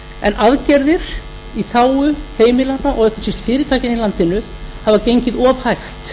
en aðgerðir í þágu heimilanna og ekki síst fyrirtækjanna í landinu hafa gengið of hægt